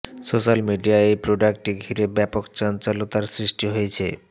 social মিডিয়ায় এই প্রোডাক্টটি ঘিরে ব্যাপক চঞ্চলতার সৃষ্টি হয়েছে